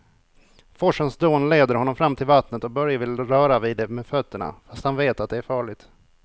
Forsens dån leder honom fram till vattnet och Börje vill röra vid det med fötterna, fast han vet att det är farligt.